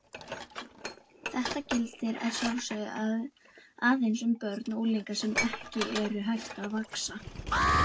Þetta gildir að sjálfsögðu aðeins um börn og unglinga sem ekki eru hætt að vaxa.